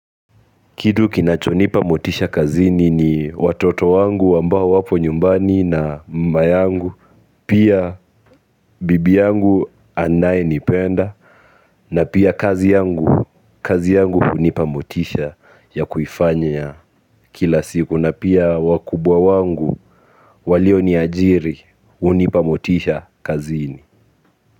Kitu kinachonipa motisha kazini ni watoto wangu ambao wapo nyumbani na mama yangu. Pia bibi yangu anayenipenda na pia kazi yangu hunipa motisha ya kuifanya kila siku na pia wakubwa wangu walio niajiri hunipa motisha kazini.